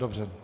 Dobře.